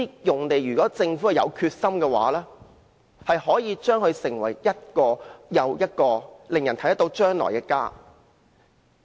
如果政府有決心，可以把這些用地變成一個又一個令人看見將來的家。